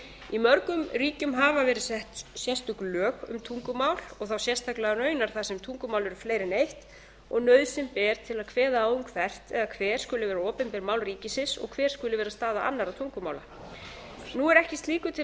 í mörgum ríkjum hafa verið sett sérstök lög um tungumál og þá sérstaklega raunar þar sem tungumál eru fleiri en eitt og nauðsyn ber til að kveða á um hvert eða hver skuli vera opinber mál ríkisins og hver skuli vera staða annarra tungumála nú er ekki slíku til